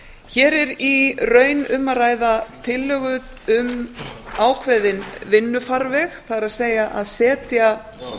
hér er í raun um að ræða tillögu um ákveðinn vinnufarveg það er að setja